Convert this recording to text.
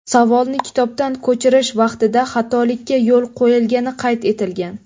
Savolni kitobdan ko‘chirish vaqtida xatolikka yo‘l qo‘yilgani qayd etilgan.